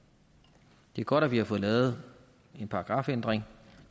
det er godt at vi har fået lavet en paragrafændring